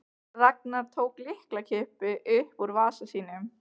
Ragnar tók lyklakippu upp úr vasa sínum.